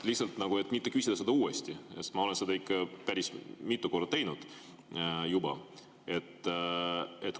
Lihtsalt, et mitte küsida seda uuesti, sest ma olen seda ikka päris mitu korda juba teinud.